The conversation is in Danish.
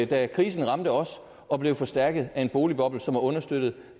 da krisen ramte os og blev forstærket af en boligboble som er understøttet